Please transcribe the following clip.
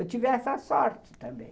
Eu tive essa sorte também.